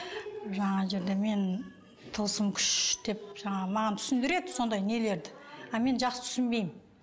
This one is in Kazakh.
жаңағы жерде мен тылсым күш деп жаңағы маған түсіндіреді сондай нелерді а мен жақсы түсінбеймін